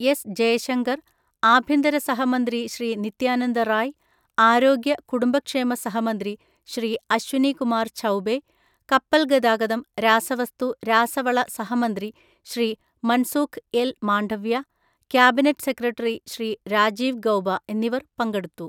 S Jaishankar, ആഭ്യന്തര സഹമന്ത്രി ശ്രീ നിത്യാനന്ദ റായ്, ആരോഗ്യ, കുടുംബക്ഷേമ സഹമന്ത്രി ശ്രീ അശ്വിനി കുമാർ ഛൗബേ, കപ്പൽ ഗതാഗതം, രാസവസ്തു, രാസവള സഹമന്ത്രി Shri Mansukh L Mandaviya, cabinet secretary Shri Rajiv Gauba എന്നിവർ പങ്കെടുത്തു.